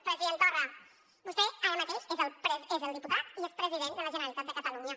president torra vostè ara mateix és diputat i és president de la generalitat de catalunya